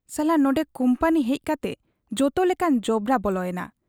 ᱥᱟᱞᱟ ᱱᱚᱱᱰᱮ ᱠᱩᱢᱯᱟᱹᱱᱤ ᱦᱮᱡ ᱠᱟᱛᱮ ᱡᱚᱛᱚ ᱞᱮᱠᱟᱱ ᱡᱚᱵᱽᱨᱟ ᱵᱚᱞᱚ ᱮᱱᱟ ᱾